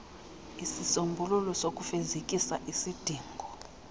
isisombululo sokufezekisa isidingo